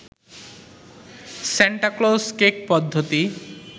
Santa Claus cake পদ্ধতি